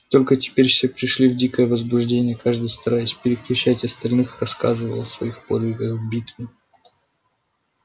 и только теперь все пришли в дикое возбуждение каждый стараясь перекричать остальных рассказывал о своих подвигах в битве